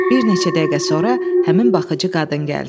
Bir neçə dəqiqə sonra həmin baxıcı qadın gəldi.